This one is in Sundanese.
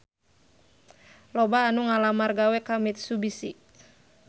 Loba anu ngalamar gawe ka Mitsubishi